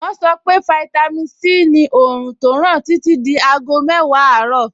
Wọ́n sọ fún mi pé fáítámì Sí ni òòrùn tó ràn títí di aago mẹ́wàá àárọ̀.